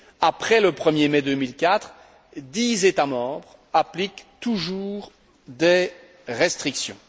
après le 1er mai 2004, dix États membres appliquent toujours des restrictions.